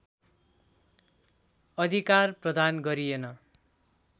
अधिकार प्रदान गरिएन